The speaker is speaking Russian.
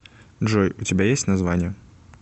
джой у тебя есть название